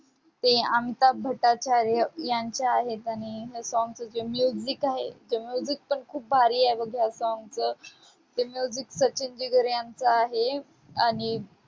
ते अंगठा भटाचार्य यांचं आहेत आणि हे song चे जे music आहे ते music पण खूप भारी आहे बघ song चं ते music सचिन जिगर यांचं आहे. आणि